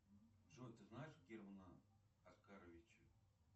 джой ты знаешь германа оскаровича